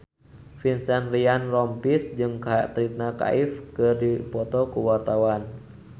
Vincent Ryan Rompies jeung Katrina Kaif keur dipoto ku wartawan